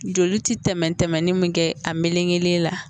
Joli ti tɛmɛn tɛmɛnen mun kɛ a melengelen la.